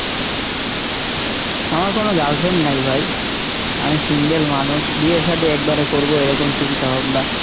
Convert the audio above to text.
আমার কোনো girlfriend নাই ভাই, আমি single মানুষ, বিয়ে শাদি একবারে করবো এরকম চিন্তা ভাবনা।